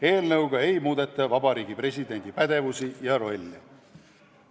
Eelnõuga ei muudeta Vabariigi Presidendi pädevusi ja rolli.